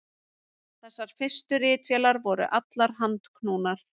Þessar fyrstu ritvélar voru allar handknúnar.